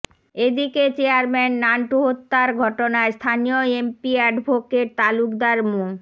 এদিকে চেয়ারম্যান নান্টু হত্যার ঘটনায় স্থানীয় এমপি অ্যাডভোকেট তালুকদার মো